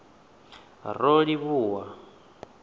rolivhuwan